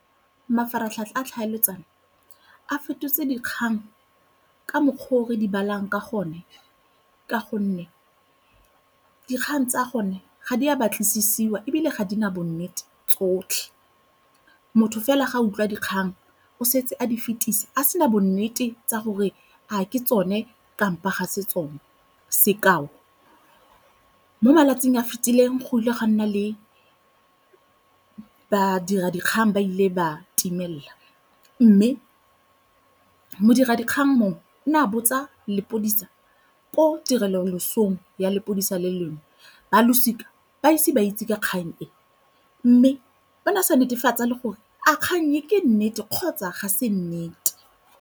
Mafaratlhatlha a tlhaeletsano a fetotse dikgang ka mokgwa o re di balang ka gone ka gonne dikgang tsa gone ga di a batlisiwa ebile ga di na bo nnete tsotlhe. Motho fela ga a utlwa dikgang o setse a di fetisa a sena bonnete tsa gore a ke tsone kampo ga se tsone. Sekao, mo malatsing a a fitileng go ile ga nna le badira dikgang ba ile ba timelel mme modira dikgang mongwe o ne a botsa lepodisa ko tirelong ya lepodisa le lengwe ba losika ba ise ba itse ka kgang e, mme ba na sa netefatsa le gore a kgang e ke nnete kgotsa ga se nnete.